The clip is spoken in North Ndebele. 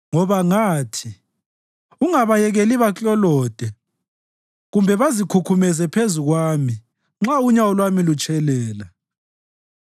Ngoba ngathi, “Ungabayekeli baklolode kumbe bazikhukhumeze phezu kwami nxa unyawo lwami lutshelela.”